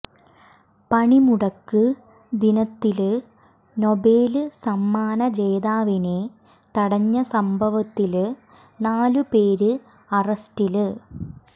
പണിമുടക്ക് ദിനത്തില് നൊബേല് സമ്മാന ജേതാവിനെ തടഞ്ഞ സഭേവത്തില് നാലുപേര് അറസ്റ്റില്